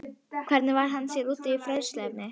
Hvernig varð hann sér úti um fræðsluefnið?